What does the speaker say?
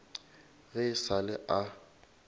ge e sa le a